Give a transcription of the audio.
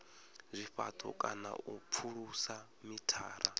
zwifhato kana u pfulusa mithara